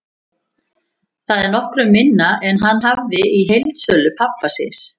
Það er nokkru minna en hann hafði í heildsölu pabba síns.